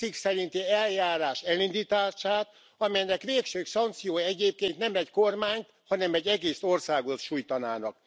7. cikk szerinti eljárás elindítását, amelynek végső szankciói egyébként nem egy kormányt, hanem egy egész országot sújtanának.